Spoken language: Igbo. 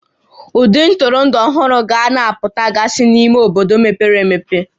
Ụdị ntụrụndụ ọhụrụ ga na-apụtagasị n'ime obodo mepere emepe